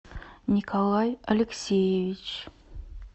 николай алексеевич